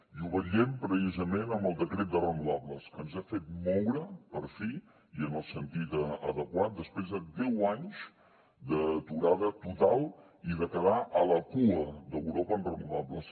i ho vetllem precisament amb el decret de renovables que ens ha fet moure per fi i en el sentit adequat després de deu anys d’aturada total i de quedar a la cua d’europa en renovables